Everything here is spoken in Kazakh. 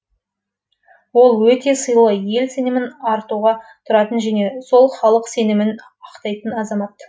ол өте сыйлы ел сенімін артуға тұратын және сол халық сенімін ақтайтын азамат